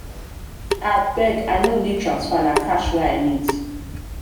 abeg i no need transfer na cash wey i wey i need.